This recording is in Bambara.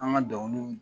An ka dɔnkiliw